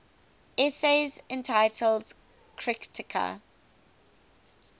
essays entitled kritika